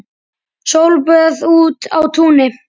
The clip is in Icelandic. Sólböð úti á túni.